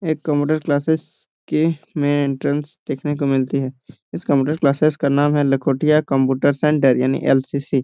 ए computer classes के main entrance को देखने को मिलती है इस कंप्यूटर क्लासेस का नाम लखोटिया कंप्यूटर सेंटर यानि एल.सी.सी. --